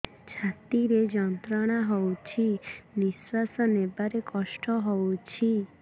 ଛାତି ରେ ଯନ୍ତ୍ରଣା ହଉଛି ନିଶ୍ୱାସ ନେବାରେ କଷ୍ଟ ହଉଛି